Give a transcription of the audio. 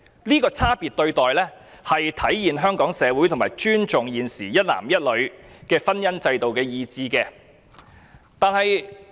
這種差別待遇體現了香港社會尊重一男一女婚姻制度的傾向。